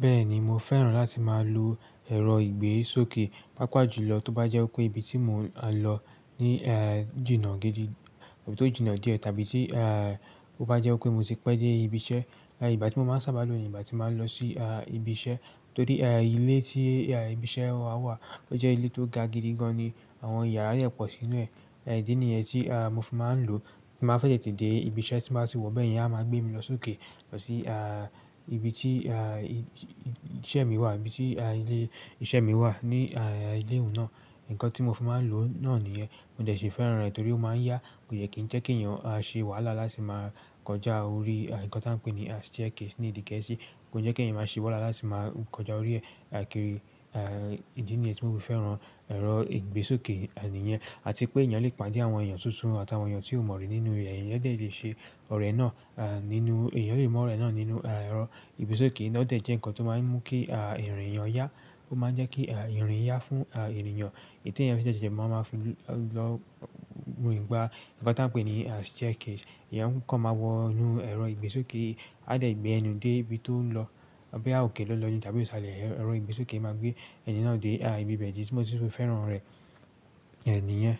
Bẹ́ẹ̀ni, mo fẹ́ràn láti máa lo ẹ̀rọ ìgbésókè, pàápàá jùlọ tó bá jẹ́ pé ibi tí mo máa lọ ní, e, jìnnà gidi tàbí tó jìnnà díẹ̀ tàbí tí, e, ó bá jẹ́ pé mo ti pẹ́ dé ibi iṣẹ́. Ẹ̀yà ìgbà tí mo máa ń sábà lo ní ìgbà tí màá lọ sí, a, ibi iṣẹ́ torí, e, ilé tí, e, ibi iṣẹ́ wa wà, ó jẹ́ ilé tó ga gidi gan ni àwọn yàrá yẹn pọ̀ sínú rẹ̀. Ìdínìyẹn tí, a, mo fi máa ń lo tí màá fẹ́ tètè dé ibi iṣẹ́ tí mo bá ti wọ bẹ́ẹ̀ yẹn, à máa gbé mi lọ sókè lọ sí, a, ibi tí, a, iṣẹ́ mi wà, ibi tí, a, ilé iṣẹ́ mi wà ní, a, ilé ìwé náà. Ǹkan tí mo fi máa ń lo náà nìyẹn. Mo dẹ̀ ṣe fẹ́ràn rẹ̀ torí ó máa ń yá. Kò yẹ kí n jẹ́ kí èèyàn a ṣe wàhálà láti máa kọjá orí ǹkan tí a ń pè ní staircase ní èdè gẹ̀ẹ́sì. Kò yẹ kí ẹ̀yin máa ṣe wàhálà láti máa kọjá orí rẹ̀. Aìkiri, e, ìdí nìyẹn tí mo fi fẹ́ràn ẹ̀rọ ìgbésókè, a, nìyẹn àti pé èèyàn lè pàdé àwọn èèyàn tuntun àtàwọn èèyàn tí ó mọ̀ rí nínú rẹ̀. Ẹ̀nìyàn dẹ̀ lè ṣe ọ̀rẹ́ náà, a, nínú-- èèyàn lè mọ ọ̀rẹ́ náà nínú, a, ẹ̀rọ ìgbésókè náà dẹ̀ jẹ́ ǹkan tó máa ń mú kí, a, ìrìn èèyàn yá. Ó máa ń jẹ́ kí, a, ìrìn yá fún, a, èèyàn. Èyí tí èèyàn fi dẹ̀ ṣe máa ń fi lọ nígbà ǹkan tí a ń pè ní staircase. Ẹ̀nìyàn kọ́ máa wọ inú ẹ̀rọ ìgbésókè, a dẹ̀ gbé ẹnu dé ibi tó ń lọ. Ọ̀bẹ á òkè lọ́ lọ ni tàbí ìṣàlẹ̀ ẹ̀rọ ìgbésókè máa gbé ẹni náà dé, a, ibi bẹ̀ẹ̀ ìdí tí mo sì fi fẹ́ràn rẹ̀, a, nìyẹn.